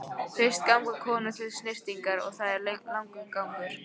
Fyrst ganga konur til snyrtingar og það er langur gangur.